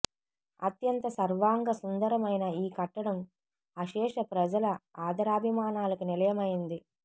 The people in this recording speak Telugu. అత్యంత సర్వాంగ సుందరమైన ఈ కట్టడం అశేష ప్రజల ఆధరాభిమానాలకు నిలయమైంది